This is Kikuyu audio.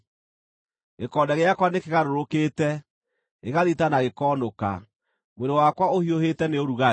Gĩkonde gĩakwa nĩkĩgarũrũkĩte, gĩgathita na gĩkoonũka; mwĩrĩ wakwa ũhiũhĩte nĩ ũrugarĩ.